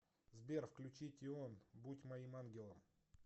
сбер включи тион будь моим ангелом